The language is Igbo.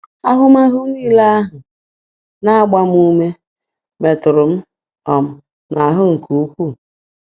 Ahụmahụ nile ahụ na-agba ume metụrụ m um n'ahụ nke ukwuu.